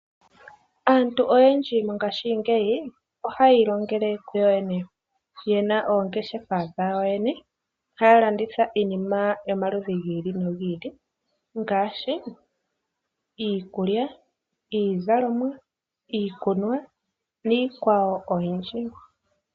Aantu oyendji mongashingeyi ohaya ilongele kuyo yene, yena oongeshefa dhawo yene haya landitha iinima yomaludhi gi ili nogi ili ngaashi iikulya, iizalomwa, iikunwa niikwawo oyindji.